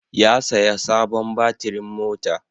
Ya saya sabon batirin mota.